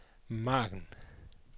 margen